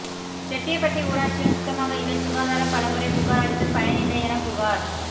செட்டியபட்டி ஊராட்சியில் சுத்தமாக இல்லை சுகாதாரம் பலமுறை புகாரளித்தும் பயனில்லையென புகார்